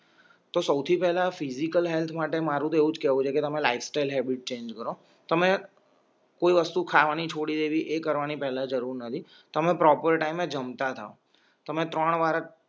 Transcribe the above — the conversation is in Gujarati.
તો સૌથી પહેલા ફિઝિકલ હેલ્થ માટે મારું તો એવુંજ કેવું છે કે તમે લાઇફ સ્ટાઇલ હેબિટ ચેન્જ કરો તમે કોઈ વસ્તુ ખાવાની છોડી દેવી એ કરવાની પહેલા જરૂર નથી તમે પ્રોપર ટાઇમે જમતા થા તમે ત્રણ વાર